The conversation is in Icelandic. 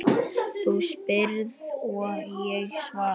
Þú spyrð og ég svara.